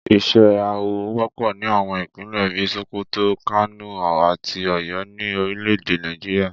Ìṣe awọ wọ́pọ̀ ní àwọn Ìpínlẹ̀ bí i Sokoto, Kano àti Ọ̀yọ́ ní orílẹ̀ èdè Nàìjíríà